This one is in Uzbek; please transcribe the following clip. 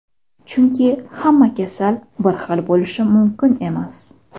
Chunki hamma kasal bir xil bo‘lishi mumkin emas;.